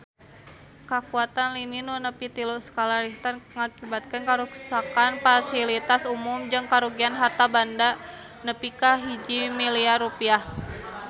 Kakuatan lini nu nepi tilu skala Richter ngakibatkeun karuksakan pasilitas umum jeung karugian harta banda nepi ka 1 miliar rupiah